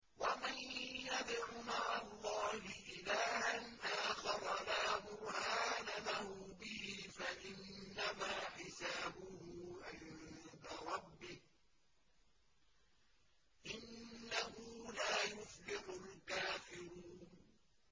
وَمَن يَدْعُ مَعَ اللَّهِ إِلَٰهًا آخَرَ لَا بُرْهَانَ لَهُ بِهِ فَإِنَّمَا حِسَابُهُ عِندَ رَبِّهِ ۚ إِنَّهُ لَا يُفْلِحُ الْكَافِرُونَ